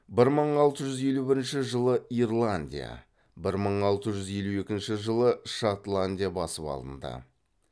бір мың алты жүз елу бірінші жылы ирландия бір мың алты жүз елу екінші жылы шотландия басып алынды